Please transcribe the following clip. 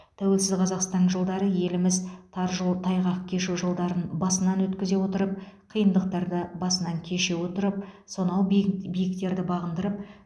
тәуелсіз қазақстан жылдары еліміз тар жол тайғақ кешу жылдарын басынан өткізе отырып қиындықтарды басынан кеше отырып сонау биік биіктерді бағындырып